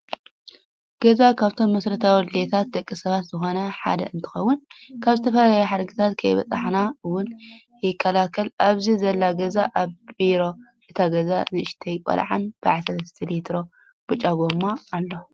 ገዛ ካብቶም መሰረታዊ ድሌታት ደቂ ሰባት ዝኮነ ሓደ እንትከውን ካብ ዝተፈላለዩ ሓደጋታት ከይበፀሐና እውን የከላከል ኣብዚ ዘላ ገዛ ኣብ በሪ እታ ገዛ ንእሽተይ ቆልዓን በዓል 3ተ ሊትሮ ብጫ ጎማ ኣሎ።